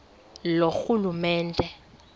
loorhulumente